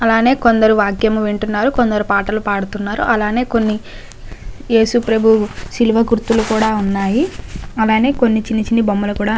అలానే కొందరు వాక్యం వింటున్నారు కొందరు పాటలు పాడుతున్నారు. అలనే కొన్ని యేసు ప్రభు శిలువ గుర్తులు కూడా ఉన్నాయి. అలానే కొన్ని చిన్న చిన్న బొమ్మలు కూడా--